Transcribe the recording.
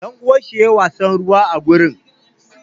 Ɗanuwan shi yayi wasan ruwa a gurin.